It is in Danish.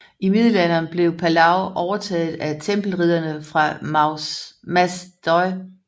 I Middelalderen blev Palau overtaget af Tempelridderne fra Mas Deu